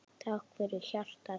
Takk fyrir hjartað þitt.